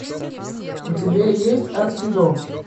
у тебя есть адский дом